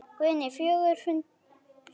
Guðný: Fjörugur fundur?